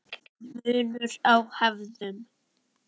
Munur á hefðum